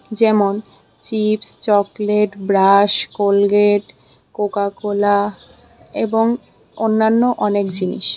যেমন- chips chocolate brush Colgate Coca Cola এবং অন্যান্য অনেক জিনিস।